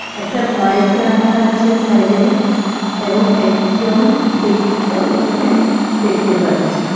একটা বাইক রাখা আছে সাইডে এবং একজন ব্যক্তিকেও এখানে দেখতে পাচ্ছি.